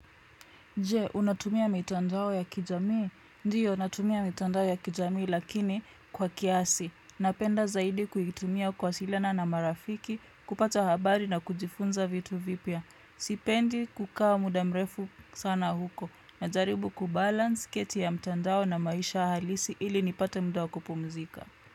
Je, unatumia mitandao ya kijamii? Ndiyo, unatumia mitandao ya kijamii lakini kwa kiasi. Napenda zaidi kuitumia kuwasilina na marafiki, kupata habari na kujifunza vitu vipya. Sipendi kukaa muda mrefu sana huko. Najaribu kubalance kati ya mitandao na maisha halisi ili nipate muda wa kupumzika.